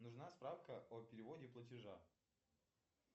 нужна справка о переводе платежа